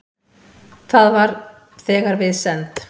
Það var þegar við send